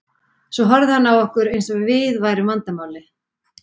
Svo horfði hann á okkur eins og við værum vandamálið.